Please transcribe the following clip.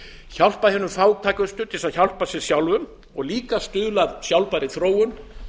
hjálpa hinum fátækustu til að hjálpa sér sjálfum og enn fremur stuðla að sjálfbærri þróun